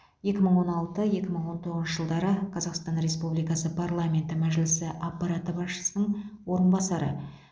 екі мың он алты екі мың он тоғызыншы жылдары қазақстан республикасы парламенті мәжілісі аппараты басшысының орынбасары